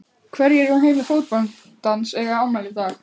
Hverjir úr heimi fótboltans eiga afmæli í dag?